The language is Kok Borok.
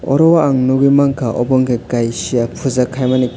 oro o ang nukgwi mankha obo ungkha kaisa puja khaimani.